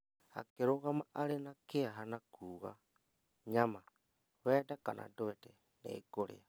Akĩrũgama arĩ na kĩeha na kuuga, "Nyama, wende kana ndwede, nĩngũrĩa."